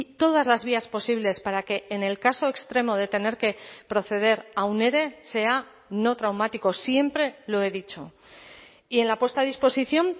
todas las vías posibles para que en el caso extremo de tener que proceder a un ere sea no traumático siempre lo he dicho y en la puesta a disposición